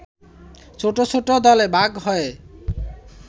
ছোট ছোট দলে ভাগ হয়ে